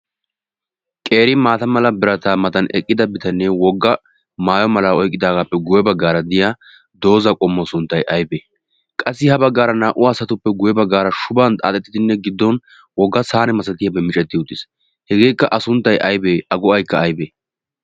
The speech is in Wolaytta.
Qeeri maata mala birataa matan eqqida bitanee wogga maaayo mala oyiqqidaagaappe guyye baggaara diya dooza qommo sunttay ayibee? Qassi ha baggaara naa"u asatuppe guye baggaara shuban xaaxettidinne giddon wogga saane misattiyaabay miccetti uttis. Hegeekka A sunttay aybee, A go"ayikka ayibee?